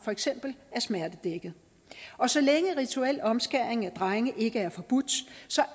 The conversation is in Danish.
for eksempel er smertedækket og så længe rituel omskæring af drenge ikke er forbudt